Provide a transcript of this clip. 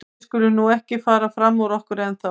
En við skulum nú ekki fara fram úr okkur ennþá.